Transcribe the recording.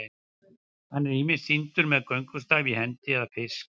hann er ýmist sýndur með göngustaf í hendi eða fisk